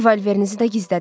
Revolverinizi də gizlədin.